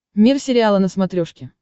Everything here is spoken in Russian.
мир сериала на смотрешке